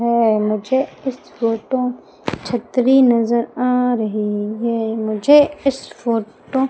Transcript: है मुझे इस फोटो छतरी नजर आ रही है मुझे इस फोटो --